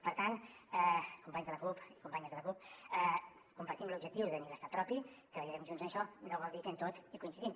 per tant companys de la cup i companyes de la cup compartim l’objectiu de tenir l’estat propi treballarem junts en això no vol dir que en tot hi coincidim